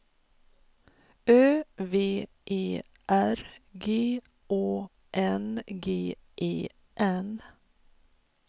Ö V E R G Å N G E N